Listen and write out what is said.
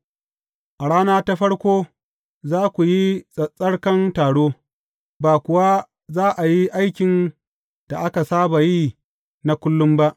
A rana ta farko, za ku yi tsattsarkan taro, ba kuwa za a yi aikin da aka saba yi na kullum ba.